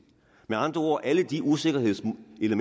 med andre ord alle de usikkerhedselementer